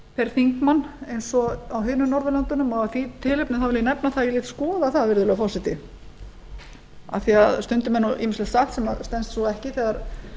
þeir þingmenn eins o á hinum norðurlöndunum og af því tilefni vil ég nefna að ég lét skoða það virðulegi forseti af því að stundum er ýmislegt sagt sem stenst ekki þegar